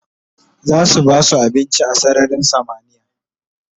zasu basu abinci a sararin samaniya